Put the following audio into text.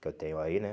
Que eu tenho aí, né?